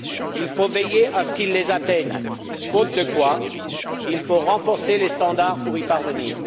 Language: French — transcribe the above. Il faut veiller à ce qu'ils l'atteignent, faute de quoi, il faudra renforcer les standards pour y parvenir.